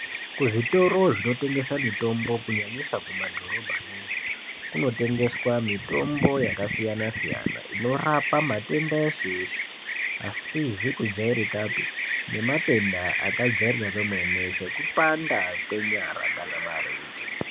Kuzvitoro zvinotengesa mutombo kunyanyisa kumadhorobha neyo, kunotengeswa mitombo yakasiyana-siyana inorapa matenda eshe-eshe asizi kujairikapi, nematenda akajairika kwemene sekupanda kwenyara kana marenje.